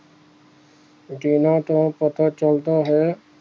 ਜਿਹਨਾਂ ਤੋਂ ਪਤਾ ਚਲਦਾ ਹੈ